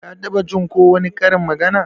Ka taɓa Jin ko wani karin magana?